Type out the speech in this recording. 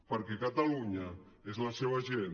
perquè catalunya és la seva gent